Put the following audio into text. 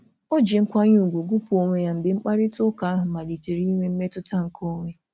O ji nkwanye ùgwù gụpụ onwe ya mgbe mkparịtaụka ahụ malitere inwe mmetụta nke onwe.